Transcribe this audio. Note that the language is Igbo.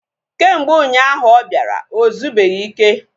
Kemgbe ụnyaahụ ahụ ọ bịara, ozubeghi ike